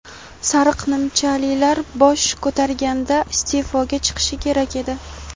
"sariq nimchalilar" bosh ko‘targanda iste’foga chiqishi kerak edi.